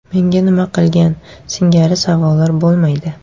Menga nima qilgan?” singari savollar bo‘lmaydi.